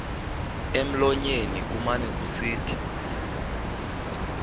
emlonyeni kumane kusithi